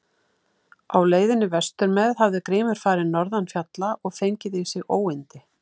Á leiðinni vestur með hafði Grímur farið norðan fjalla og fengið í sig óyndi.